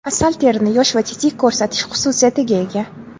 Asal terini yosh va tetik ko‘rsatish xususiyatiga ega.